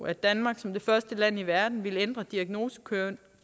at danmark som det første land i verden ville ændre diagnosekoden